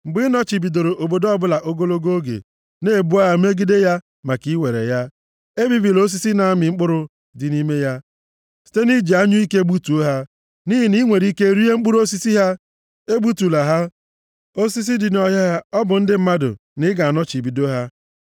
Mgbe ị nọchibidoro obodo ọbụla ogologo oge, na-ebu agha megide ya maka iwere ya, ebibila osisi na-amị mkpụrụ dị nʼime ya site nʼiji anyụike gbutuo ha. Nʼihi na i nwere ike rie mkpụrụ osisi ha, egbutula ha. Osisi dị nʼọhịa ha ọ bụ ndị mmadụ, na ị ga-anọchibido ha?